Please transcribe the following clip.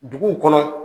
Duguw kɔnɔ